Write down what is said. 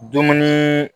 Dumuni